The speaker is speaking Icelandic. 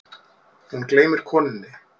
Hún gleymir konunni.